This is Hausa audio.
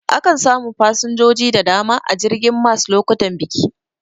Akan samu fasinjoji da dama a jirgin mas lokutan biki.